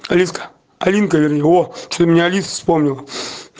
алиска алинка вернее о что-то меня алиса вспомнила